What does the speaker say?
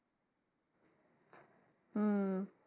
হুম।